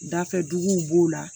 Dafɛduguw b'o la